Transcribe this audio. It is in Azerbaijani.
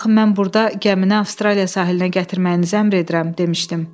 Axı mən burda gəmini Avstraliya sahilinə gətirməyinizi əmr edirəm demişdim.